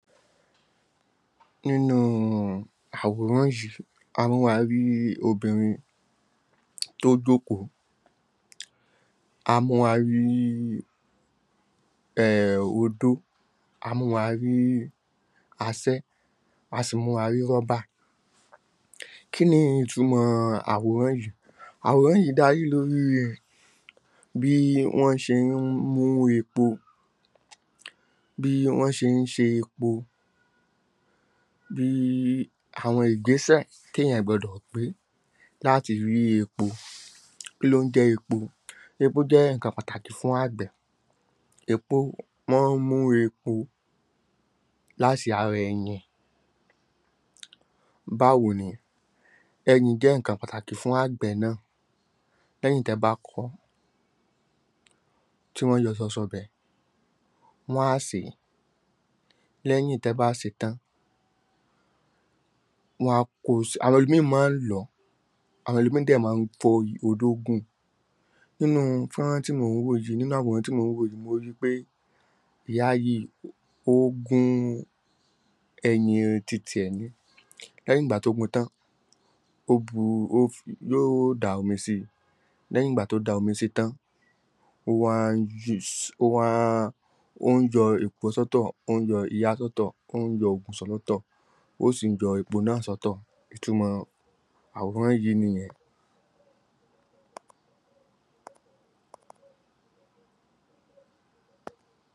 nínú àwòrán yìí, a mú wa rí obìrin tó jókòó a mú wa rí um odó, a mú wa rí asẹ́, a si mú wa rí rubber kí ni ìtumọ̀ àwòrán yìí? àwòrán yìí darí lórí bí wọ́n ṣe ń mú epo bí wọ́n ṣe ń ṣe epo bííí àwọn ìgbésẹ̀ téèyàn gbọdọ gbé láti rí epo kí ló ń jẹ epo? epo jẹ́ nǹkan pàtàkì fún àgbẹ̀ epo wọ́n ń mú epo láti ara ẹyìn báwo ni? eyìn jẹ́ nǹkan pàtàkí fún àgbẹ̀ náà lẹ́yìn tẹ bá kọ ọ́, tí wọ́n yọ sọsọ bẹ̀, wọ́n á sè é lẹ́yìn tẹ bá sè é tán, wọ́n á kós, àwọn ẹlòmìín mọ́ ń lọ̀ ọ́ àwọn ẹlòmìín dẹ̀ máa ń fọ́i odó gun nínúu fọ́nrán tí mò ń wò yìí nínú àwòrán tí mò ń yií, mo rí i pé ìyá yìí ó gún ẹyìn ti tiẹ̀ ni lẹ́yìn ìgbà tó gun tán, yó da omi sí i, lẹ́yìn ìgbà tó da omi sí i tán, ó ń yọ èkùọ́ sọ́tọ̀, ó ń yọ iyá sọ́tọ̀, ó ń yọ ògùsọ̀ lọ́tọ̀ ó sì ń yọ epo náà sọ́tọ̀, ìtumọ̀ àwòrán yìí nìyẹn